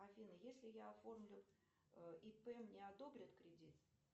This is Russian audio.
афина если я оформлю ип мне одобрят кредит